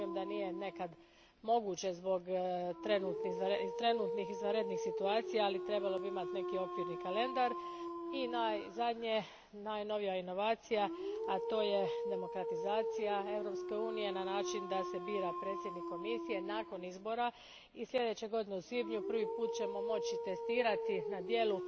Razumijem da nekad nije moguće zbog trenutnih izvanrednih situacija, ali bi trebalo imati neki okvirni kalendar. I naposljetku, najnovija inovacija, a to je demokratizacija Europske unije na način da se bira predsjednik Komisije nakon izbora i sljedeće godine u svibnju prvi put ćemo moći testirati na djelu